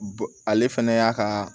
Bon ale fɛnɛ y'a ka